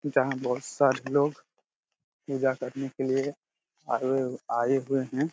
जहां बहुत सारे लोग पूजा करने के लिए आए हुए आए हुए हैं।